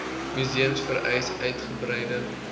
museums vereis uitgebreide